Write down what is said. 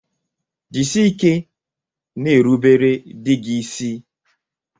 Jisike n'erubere dị gị ịsị.